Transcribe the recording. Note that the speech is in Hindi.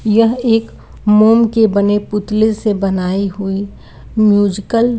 यह एक मोम के बने पुतले से बनाई हुई म्यूजिकल --